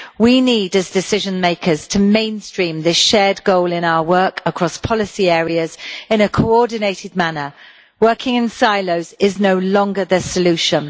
We, as decision makers, need to mainstream this shared goal in our work across various policy areas, in a coordinated manner working in silos is no longer the solution.